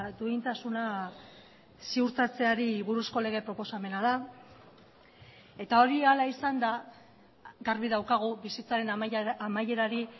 duintasuna ziurtatzeari buruzko lege proposamena da eta hori hala izan da garbi daukagu bizitzaren amaierari